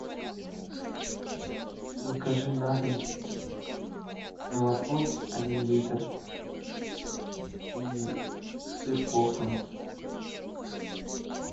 закажи на дом молоко один литр и сыр хохланд